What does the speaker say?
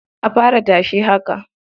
A fara tashe haka.